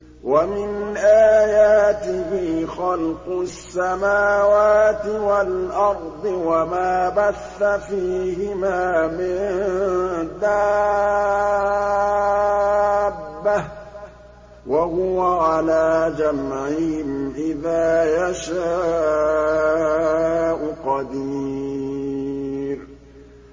وَمِنْ آيَاتِهِ خَلْقُ السَّمَاوَاتِ وَالْأَرْضِ وَمَا بَثَّ فِيهِمَا مِن دَابَّةٍ ۚ وَهُوَ عَلَىٰ جَمْعِهِمْ إِذَا يَشَاءُ قَدِيرٌ